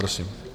Prosím.